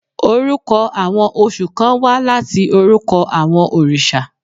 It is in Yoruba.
Orúkọ àwọn oṣù kán wá láti orúkọ àwọn orìṣà.